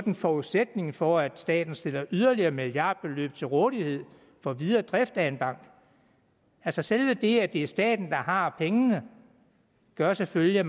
en forudsætning for at staten stiller yderligere milliardbeløb til rådighed for videre drift af en bank altså selve det at det er staten har pengene gør selvfølgelig at